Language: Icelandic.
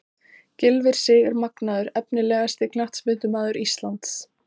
Gylfi Sig er magnaður Efnilegasti knattspyrnumaður landsins?